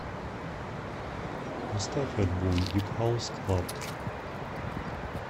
поставь альбом дип хаус клаб